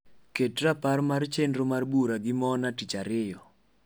ket rapar mar chenro mar bura gi mona tica ariyo